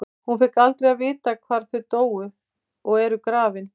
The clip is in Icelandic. Hún fékk aldrei að vita hvar þau dóu og eru grafin.